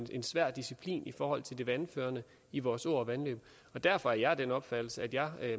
en svær disciplin i forhold til vandføring i vores åer og vandløb derfor er jeg af den opfattelse at jeg